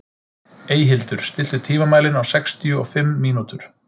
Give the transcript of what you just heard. Eyhildur, stilltu tímamælinn á sextíu og fimm mínútur.